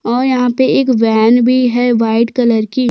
और यहाँ पे एक वेन भी है वाइट कलर की--